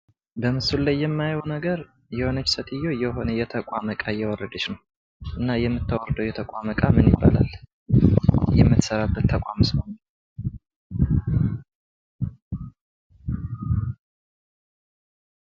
በምስሉ ላይ የማየው ነገር የሆነች ሴትዮ የሆነ የቆመ ዕቃ እያወረደች ነው እና የምታወርደው የቆመ ዕቃ ምን ይባላል? የምትሰራበት ተቋም የት ነው?